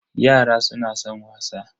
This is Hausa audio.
Yara suna san wasa.